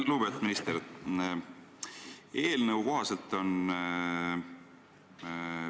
Lugupeetud minister!